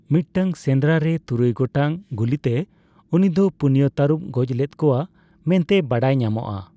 ᱢᱤᱫᱴᱟᱝ ᱥᱮᱸᱫᱽᱨᱟ ᱨᱮ ᱛᱩᱨᱩᱭ ᱜᱚᱴᱟᱝ ᱜᱩᱞᱤᱛᱮ ᱩᱱᱤᱫᱚ ᱯᱩᱱᱭᱟ ᱛᱟᱹᱨᱩᱵᱮ ᱜᱚᱡ ᱞᱮᱫ ᱠᱚᱣᱟ ᱢᱮᱱᱛᱮ ᱵᱟᱰᱟᱭ ᱧᱟᱢᱚᱜᱼᱟ ᱾